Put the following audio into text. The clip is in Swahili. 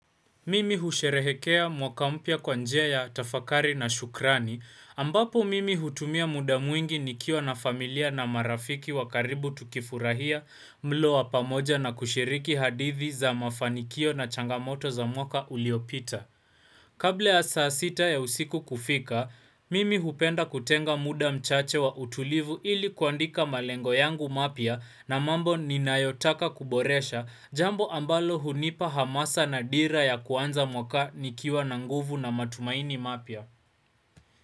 Mimi husherehekea mwaka mpya kwa njia ya tafakari na shukrani ambapo mimi hutumia muda mwingi nikiwa na familia na marafiki wa karibu tukifurahia mlo wa pamoja na kushiriki hadithi za mafanikio na changamoto za mwaka uliopita. Kabla ya saa sita ya usiku kufika, mimi hupenda kutenga muda mchache wa utulivu ili kuandika malengo yangu mapya na mambo ninayotaka kuboresha jambo ambalo hunipa hamasa na dira ya kuanza mwaka nikiwa na nguvu na matumaini mapya.